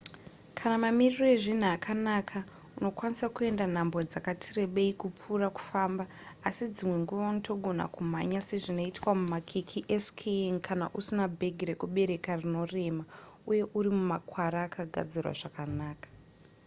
kana mamiriro ezvinhu akanaka unokwanisa kuenda nhambwe dzakati rebei kupfuura kufamba asi dzimwe nguva unotogona kumhanya sezvinoitwa mumakwikwi eskiing kana usina bhegi rekubereka rinorema uye uri mumakwara akagadzirwa zvakanaka